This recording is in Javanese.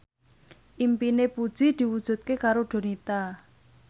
impine Puji diwujudke karo Donita